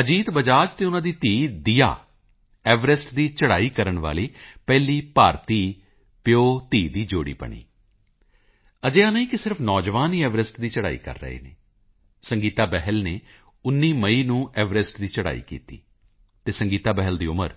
ਅਜੀਤ ਬਜਾਜ ਅਤੇ ਉਨ੍ਹਾਂ ਦੀ ਧੀ ਦੀਯਾ ਐਵਰੈਸਟ ਦੀ ਚੜ੍ਹਾਈ ਕਰਨ ਵਾਲੀ ਪਹਿਲੀ ਭਾਰਤੀ ਪਿਓਧੀ ਦੀ ਜੋੜੀ ਬਣੀ ਅਜਿਹਾ ਨਹੀਂ ਕਿ ਸਿਰਫ ਨੌਜਵਾਨ ਹੀ ਐਵਰੈਸਟ ਦੀ ਚੜ੍ਹਾਈ ਕਰ ਰਹੇ ਨੇ ਸੰਗੀਤਾ ਬਹਿਲ ਨੇ 19 ਮਈ ਨੂੰ ਐਵਰੈਸਟ ਦੀ ਚੜ੍ਹਾਈ ਕੀਤੀ ਅਤੇ ਸੰਗੀਤਾ ਬਹਿਲ ਦੀ ਉਮਰ